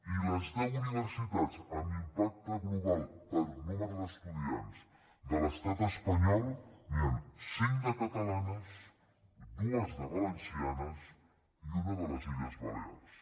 i de les deu universitats amb impacte global per nombre d’estudiants de l’estat espanyol n’hi ha cinc de catalanes dues de valencianes i una de les illes balears